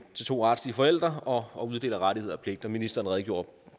to retslige forældre og uddeler rettigheder og pligter ministeren redegjorde